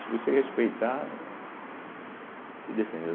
Se você respeitar, eh se defendem.